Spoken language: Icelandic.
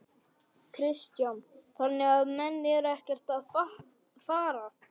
Kristján: Þannig að menn eru ekkert að fara?